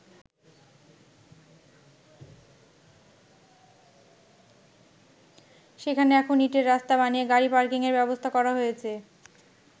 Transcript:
সেখানে এখন ইঁটের রাস্তা বানিয়ে গাড়ি পার্কিংয়ের ব্যবস্থা করা হয়েছে।